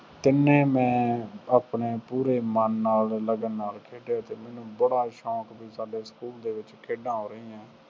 ਤਿੰਨੇ ਮੈਂ ਆਪਣੇ ਪੂਰੇ ਮਨ ਨਾਲ, ਲਗਨ ਨਾਲ ਖੇਡਿਆ ਅਤੇ ਮੈਨੂੰ ਬੜਾ ਸੌਂਕ ਸੀ ਸਾਡੇ ਸਕੂਲ ਦੇ ਵਿੱਚ ਖੇਡਾਂ ਹੋ ਰਹੀਆਂ।